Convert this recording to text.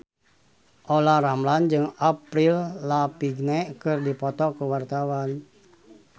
Olla Ramlan jeung Avril Lavigne keur dipoto ku wartawan